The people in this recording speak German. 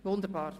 – Wunderbar.